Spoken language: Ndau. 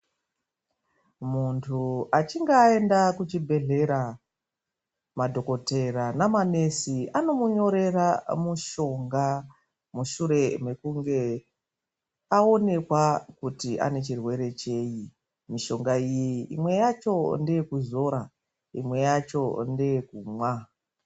Muntu achinge aenda kuchibhedhlera, madhokodheya naanamukoti, vanomunyorera mitombo mushure mekunge aonekwa kuti ane chirwere chei. Mitombo iyi, mimwe yacho ngeyekuzora. Imwe yacho ngeekumwa.